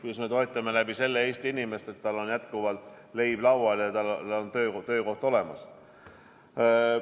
Kuidas me läbi selle toetame Eesti inimest, et tal on jätkuvalt leib laual ja tal on töökoht olemas.